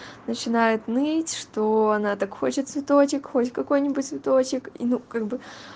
начинает ныть что она так хочет цветочек хоть какой-нибудь цветочек ну как бы